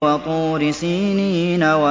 وَطُورِ سِينِينَ